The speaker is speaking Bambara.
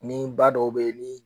Ni ba dɔw be yen ni